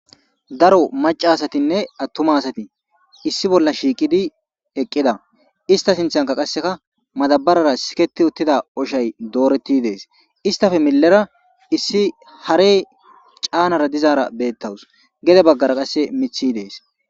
Daro macca asatinne attuma asati issi bolla shiiqidi eqqida. Ista sinthanka qasseka madabarara siketi uttida oshay dooreti dees. Istappe millera issi harey caanara dizaara beettawus. Gede baggara qasse miththi dees.